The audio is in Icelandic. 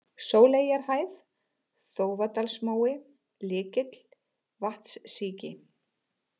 Sóleyjarhæð, Þófadalsmói, Lykill, Vatnssíki